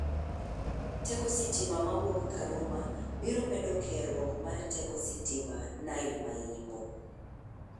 Teko sitima mawuok Karuma biro medo keruok ma mar teko sitima Nile ma Yimbo.